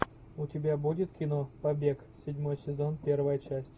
у тебя будет кино побег седьмой сезон первая часть